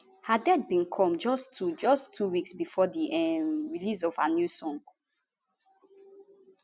her death bin come just two just two weeks bifor di um release of her new song